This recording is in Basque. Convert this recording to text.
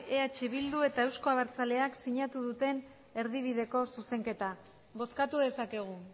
eh bilduk eta euzko abertzaleak sinatu duten erdibideko zuzenketa bozkatu dezakegu